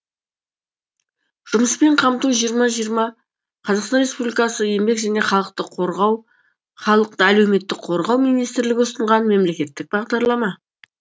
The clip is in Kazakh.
жұмыспен қамту жиырма жиырма қазақстан республикасы еңбек және халықты әлеуметтік қорғау министрлігі ұсынған мемлекеттік бағдарлама